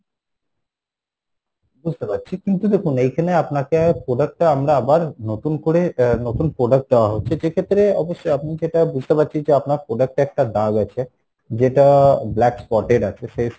বুঝতে পারছি কিন্তু দেখুন এইখানে আপনাকে product টা আমরা আবার নতুন করে আহ নতুন product দেওয়া হচ্ছে যে ক্ষেত্রে অবশ্যই আপনি যেটা বুঝতে পারছি যে আপনার product টাই একটা দাগ রয়েছে, যেটা black spotted আছে সে